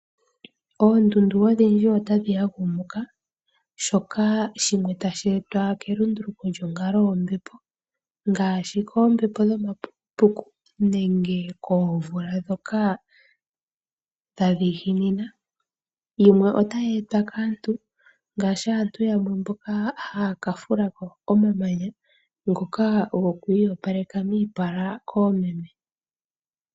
Oondundu odhindji otadhi ya gumuka shoka shimwe tashi etwa kelunduluko lyonkalo yombepo ngaashi koombepo dho mapukupuku nenge koomvula ndhoka dha dhiginina. yimwe otayi etwa kaantu ngaashi aantu yamwe mboka ha yaka fulako omamanya ngoka go ku iyopaleka miipala koomeme.